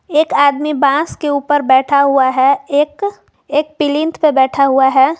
एक आदमी बांस के ऊपर बैठा हुआ है एक एक प्लिंथ पे बैठा हुआ है।